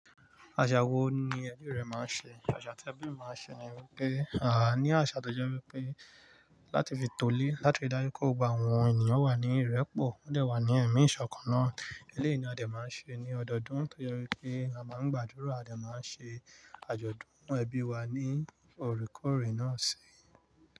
Àṣà wo ni ẹbí rẹ máa ń ṣe? Àṣà tí ẹbí máa ń ṣe ni wípé, àá ní àṣà tó jẹ́ wípé láti fi tolé, láti dájú kó gbogbo àwọn ènìyàn wà ní ìrẹ́pọ̀. Wọ́n dẹ̀ wá ní ẹ̀mí ìṣọ̀kan náà. Eléyi ni a dẹ̀ máa ń ṣe ní ọdọọdún tó jẹ́ wípé a máa ń gbàdúrà, a dẹ̀ máa ń ṣe àjọ̀dún n nu ẹbí wa ní orekòre náà si.